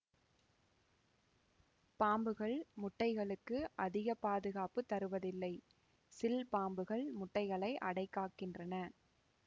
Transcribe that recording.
பாம்புகள் முட்டைகளுக்கு அதிகப்பாதுகாப்பு தருவதில்லை சில் பாம்புகள் முட்டைகளை அடைக்காக்கின்றன